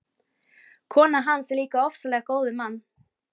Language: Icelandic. Konan hans er líka ofsalega góð við mann.